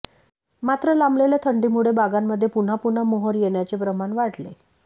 मात्र लांबलेल्या थंडीमुळे बागांमध्ये पुन्हा पुन्हा मोहर येण्याचे प्रमाण वाढले